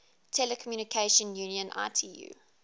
telecommunication union itu